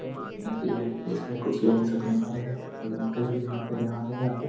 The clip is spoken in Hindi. एक नदी है इसमें कुछ लोग सब नहा रहे है एक अंकल भी वहां पे नहा रहे आ के ।